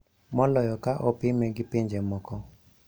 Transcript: Moloyo ka opime gi pinje moko"